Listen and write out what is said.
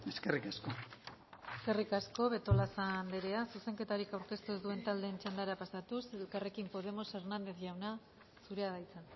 eskerrik asko eskerrik asko betolaza anderea zuzenketarik aurkeztu ez duen taldeen txandara pasatuz elkarrekin podemos hernández jauna zurea da hitza